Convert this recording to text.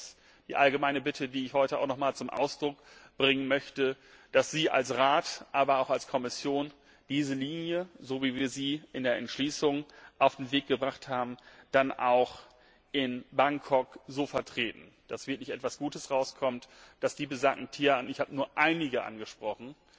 Das ist die allgemeine Bitte, die ich heute nochmals zum Ausdruck bringen möchte, dass Sie als Rat, aber auch als Kommission diese Linie so, wie wir sie in der Entschließung auf den Weg gebracht haben, in Bangkok vertreten, dass wirklich etwas Gutes dabei herauskommt und die besagten Tierarten ich habe nur einige angesprochen,